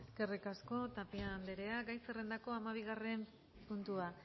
eskerrik asko tapia andrea gai zerrendako hamabigarren puntua